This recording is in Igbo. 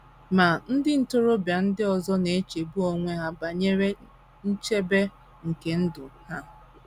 Ma, ndị ntorobịa ndị ọzọ na - echegbu onwe ha banyere nchebe nke ndụ ha.